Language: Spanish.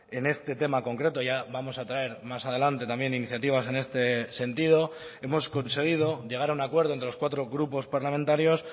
en este tema concreto ya vamos a traer más adelante también iniciativas en este sentido hemos conseguido llegar a un acuerdo entre los cuatro grupos parlamentarios